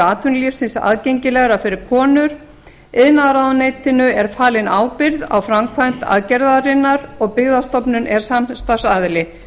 atvinnulífsins aðgengilegra fyrir konur iðnaðarráðuneytinu er falin ábyrgð á framkvæmd aðgerðarinnar og byggðastofnun er samstarfsaðili